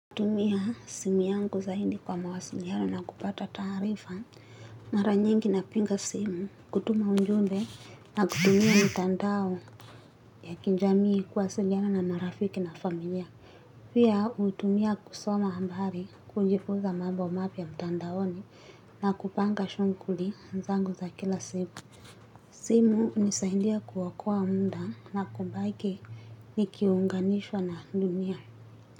Hutumia simu yangu zaidi kwa mawasiliano na kupata taarifa maranyingi napinga simu kutuma ujumbe na kutumia mtandao ya kinjamii kuwasiliana na marafiki na familia. Pia utumia kusoma hambari kujifunza mambo mapya mtandaoni na kupanga shunguli nzangu za kila siku. Simu unisaindia kuwakua munda na kubake ni kiuunganishwa na dunia.